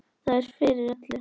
Það er fyrir öllu.